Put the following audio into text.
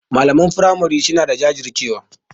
Malaman firamari suna da jajircewa.